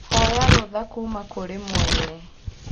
Hoya rũtha kũũma kũrĩ mwene